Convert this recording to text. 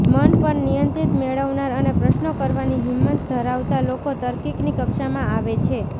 મન પર નિયંત્રણ મેળવનાર અને પ્રશ્નો કરવાની હિંમત ધરાવતા લોકો તાર્કિકની કક્ષામાં આવે છે